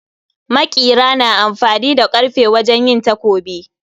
Maƙira na amfani da karfe wajen yin takobi